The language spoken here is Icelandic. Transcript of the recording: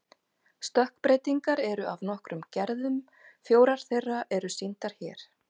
Stökkbreytingar eru af nokkrum gerðum, fjórar þeirra eru sýndar hér.